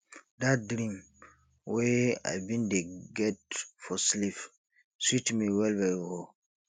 dat dream wey i bin dey get for sleep sweet me wellwell o